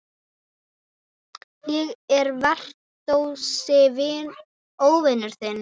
Ég er versti óvinur þinn.